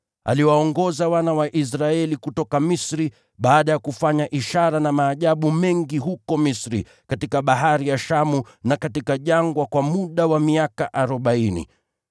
Aliwaongoza wana wa Israeli kutoka Misri, baada ya kufanya ishara na maajabu mengi huko Misri, katika Bahari ya Shamu, na katika jangwa kwa muda wa miaka arobaini.